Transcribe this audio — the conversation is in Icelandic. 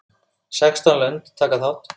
Sextán lönd taka þátt.